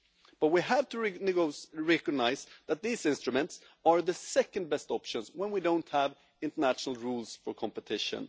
But we have to recognise that these instruments are the second best option when we don't have international rules for competition.